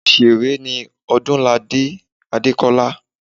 Òsèré ni Odúnladé Adékọ́lá